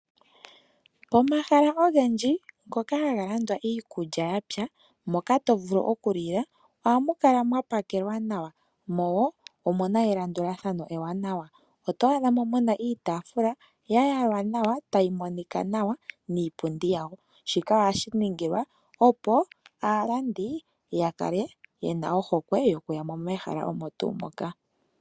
Omahala ogendji ngoka haga landitha iikulya yapwa moka tovulu okulya, ohamu kala mwa pakelwa nawa ,mo omuna elandulathano ewanawa oto adhamo muna iitaafula yayalwa nawa tayi monika nawa niipundi yawo, shika ohashi ningilwa opo aalandi yakale yena ohokwe yokuya mo mehala omo tuu moka.